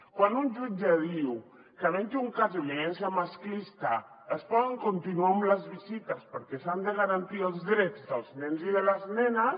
quan un jutge diu que havent hi un cas de violència masclista es poden continuar les visites perquè s’han de garantir els drets dels nens i de les nenes